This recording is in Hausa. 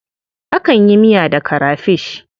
Akan yi miya da karafish.